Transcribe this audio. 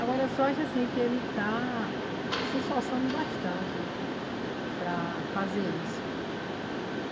Agora eu só acho assim que ele está se esforçando bastante para fazer isso.